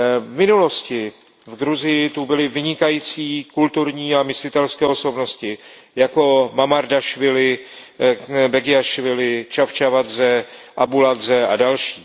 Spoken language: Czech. V minulosti v Gruzii byly vynikající kulturní a myslitelské osobnosti jako Mamardašvili, Begiašvili, Čavčavadze, Abuladze a další.